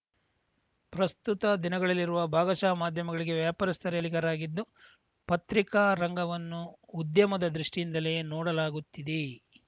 ಪ್ರಸ್ತುತ ದಿನಗಳಲ್ಲಿರುವ ಭಾಗಶಃ ಮಾಧ್ಯಮಗಳಿಗೆ ವ್ಯಾಪಾರಸ್ಥರೇ ಮಾಲೀಕರಾಗಿದ್ದು ಪತ್ರಿಕಾ ರಂಗವನ್ನು ಉದ್ಯಮದ ದೃಷ್ಟಿಯಿಂದಲೇ ನೋಡಲಾಗುತ್ತಿದೆ